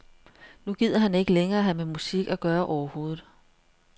Nu gider han ikke længere have med musik at gøre overhovedet.